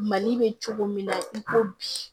Mali bɛ cogo min na i ko bi